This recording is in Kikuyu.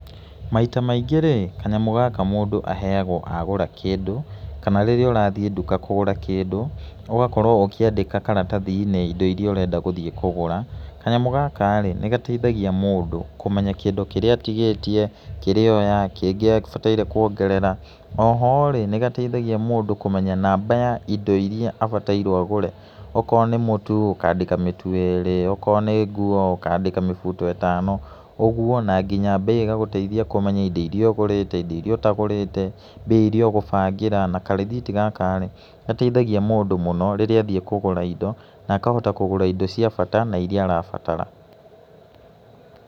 Maita maingĩ rĩ, kanyamũ gaka mũndũ aheagwo agũra kĩndũ, kana rĩrĩa ũrathiĩ nduka kũgũra kĩndũ, ũgakorwo ũkĩandĩka karatathi-inĩ indo iria ũrenda gũthiĩ kũgũra. Kanyamũ gaka rĩ nĩ gateithagia mũndũ kũmenya indo iria atigĩtie, kĩrĩa oya, kĩng ĩ ekũbataire kuongerera, oho rĩ nĩ gateithagia mũndũ kũmenya namba ya indo iria abatairwo agũre, okorwo nĩ mũtu ũkandĩka mĩtu ĩrĩ, okorwo nĩ nguo ũkandĩka mĩbuto ĩtano, ũguo na nginya mbei ĩgagũteithia ũmenya indo iria ũgũrĩte, indo iria ũtagũrĩte, mbia iria ũgũbangĩra na karĩthiti gaka rĩ nĩ gateithagia mũndũ mũno rĩríĩ athiĩ kũgũra indo akagũra indo cia bata na iria arabatara.